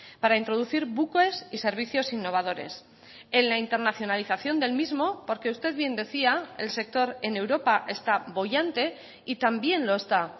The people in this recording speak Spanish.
para introducir buques y servicios innovadores en la internacionalización del mismo porque usted bien decía el sector en europa está boyante y también lo está